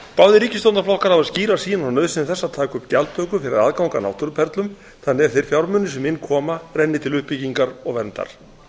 báðir ríkisstjórnarflokkar hafa skýra sýn á nauðsyn þess að taka upp gjaldtöku fyrir aðgang að náttúruperlum þannig að þeir fjármunir sem inn koma renni til uppbyggingar og verndar